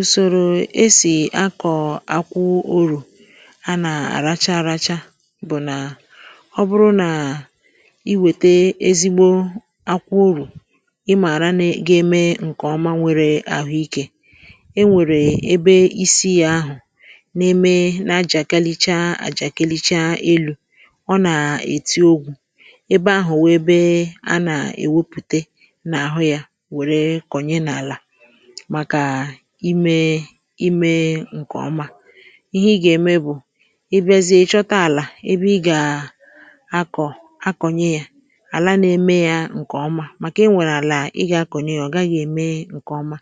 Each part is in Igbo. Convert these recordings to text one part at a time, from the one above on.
Ùsòrò esì akọ̀ akwụ urù a nà-àracha àracha bụ̀ nà ọ bụrụ nà i wète ezigbo akwụ urù, ịmȧra ne ga-eme nkeọma nwere àhụikė, e nwèrè ebe isi yȧ ahụ̀ na-eme na-ajàkalịchaa àjàkalịchaa elu̇, ọ nà-èti ogwù, ebe ahụ̀ wee be a nà-èwepùte n’àhụ yȧ wère kọ̀nye n’àlà màkà imé imė ǹkèọma, ihe ị gà-ème bụ̀ ị bịazie ị̀ chọta àlà ebe ị gà-akọ̀ akọ̀nyẹ ya, àla na-eme ya ǹkèọma màkà i nwèrè àlà ị gà-akọ̀nyẹ ya ọ̀ gaghị̇ ème ǹkèọma,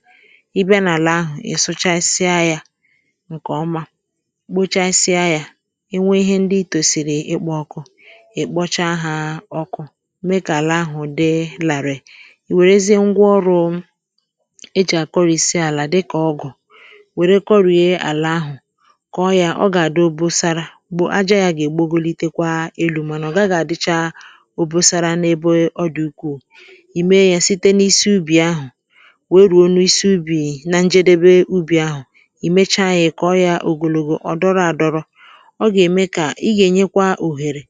ị bịa n’àlà ahụ̀ ị̀ sụchasịa ya ǹkèọma kpochasịa ya e nwee ihe ndi tòsìrì ịkpọkụ, ị̀ kpọcha ha ọkụ, mee kà àlà ahụ̀ dii làrị̀ị̀, wèrèzie ngwa ọrụ̇ ejì akorisi ala dịka ọgụ, wère kọrìe àlà ahụ̀, kọọ yȧ ọ gà-àdị obosara bụ̀ aja yȧ gà-ègbogolitekwa elu̇ mànà ọ gàghi àdịcha obusara n’ebe ọ dị̀ ukwù ì mee yȧ site n’isi ubì ahụ̀ wèe rùo nụ̇ isi ubì na njedebe ubì ahụ̀, ì mechaa yȧ ịkọ yȧ ogologo ọ̀ dọrọ àdọrọ ọ gà-ème kà ị gà-ènyekwa òhèrè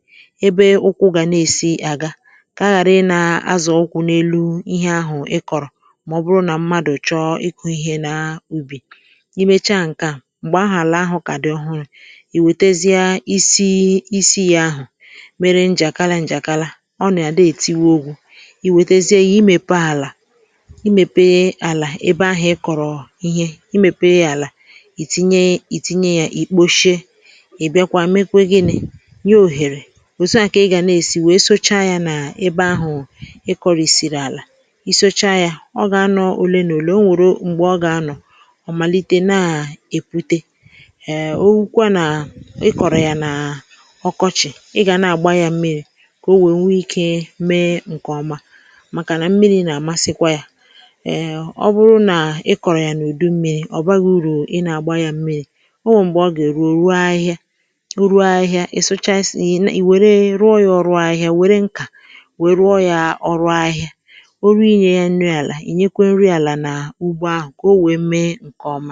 ebe ụkwụ̇ gà na-èsi àga kà a ghàrị nà azọ̀ ụkwụ̇ n’elu ihe ahụ̀ ị kọ̀rọ̀ ma ọ bụrụ na mmadụ chọọ ịkụ ìhè na ubi, imecha ǹkè a m̀gbè ahụ̀ àlà ahụ̀ kà dị ọhụrụ ì wètezie isi isi ya ahụ̀ mere njàkala njàkala, ọ nà-àdị ètiwu ogwụ, ì wètezie ya imèpe àlà imèpe àlà ebe ahụ̀ ị kọ̀rọ̀ ihe imèpe àlà ì tinye ì tinye ya ì kposhie, ì bịakwa mekwe gịnị̇, nye òhèrè, òtu à kà ị gà nèsi wee socha ya nà ebe ahụ̀ ị kọrị̀sị̀rị̀ àlà, i socha ya ọ gà anọ olé na olé ọ̀ nwere mgbe ọga anọ ọ màlite nà-èpute um ohukwe nà ị kọ̀rọ̀ yà n’ọkọchị̀ ị gà na-àgba yȧ mmịrị̇ kà o nwènwe ikė mee ǹkèọma, màkà nà mmịrị̇ nà-àmasịkwa yȧ um ọ bụrụ nà ị kọ̀rọ̀ yà n’ùdu mmịrị̇ ọ̀baghi urù ị nà-àgba yȧ mmịrị̇, o nwèrè m̀gbè ọ gà-èru orụọ ahịhịa, orụọ ahịhịa ị sụchaa isi ǹhị wère ruo yȧ ọrụ ahịhịa wère nkà, wèe rụọ yȧ ọrụ ahịhịa, o ru inyė ya nri àlà ìnyekwe nri àlà nà ugbo ahụ̀ ka ọ wéé méé ǹkeọ̀ma.